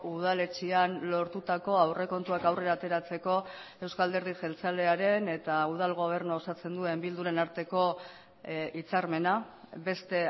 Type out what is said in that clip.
udaletxean lortutako aurrekontuak aurrera ateratzeko euzko alderdi jeltzalearen eta udal gobernua osatzen duen bilduren arteko hitzarmena beste